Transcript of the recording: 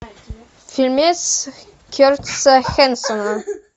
фильмец кертиса хэнсона